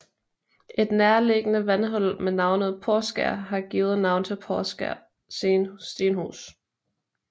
Et nærliggende vandhul med navnet Porskær har givet navn til Poskær Stenhus